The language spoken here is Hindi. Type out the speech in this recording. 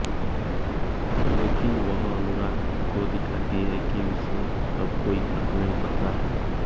लेकिन वह अनुराग को दिखाती है कि उसे अब कोई फर्क नहीं पड़ता है